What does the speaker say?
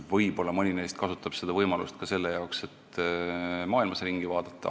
Võib-olla mõni neist kasutab seda võimalust ka selle jaoks, et maailmas ringi vaadata.